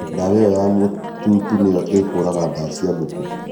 ndawa ĩyo ya mũtutu nĩyo ĩkũũraga ndaa cia ngũkũ